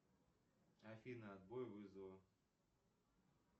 афина отбой вызова